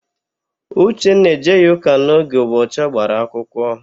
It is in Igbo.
Uchenna ejeghị ụka n'oge ụbọchị ọ gbara akwụkwọ.